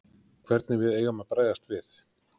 Hvernig við eigum að bregðast við?